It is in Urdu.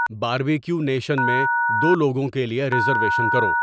باربیکیو نیشن میں دو لوگوں کے لیے ریزرویشن کرو